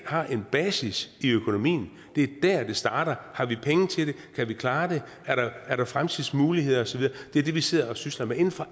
har en basis i økonomien det er der det starter har vi penge til det kan vi klare det er der er der fremtidsmuligheder osv det er det vi sidder og sysler med inden for